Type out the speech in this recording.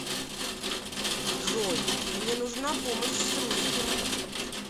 джой мне нужна помощь с русским